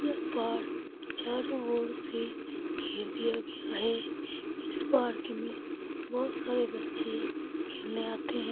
यह पार्क चारों ओर से घेर दिया गया है इस पार्क में बहुत सारे बच्चे खेलने आते हैं।